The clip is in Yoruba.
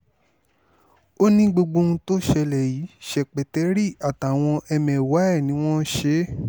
ó ní gbogbo ohun tó ṣẹlẹ̀ yìí ṣèpẹtẹrí àtàwọn ẹmẹ̀wà ẹ̀ ni wọ́n ṣe é